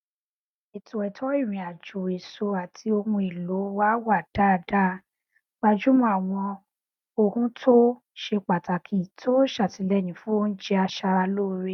ètò ètò ìrìn àjò èso àti ohun èlò wa wà dáadáa gbájúmọ àwọn ohuntó ṣe pàtàkì tó ṣàtìlẹyìn fún oúnjẹ aṣaralóore